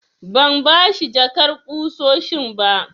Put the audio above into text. Ban bashi jakar ƙusoshin ba.